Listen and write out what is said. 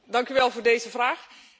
Dank u wel voor deze vraag.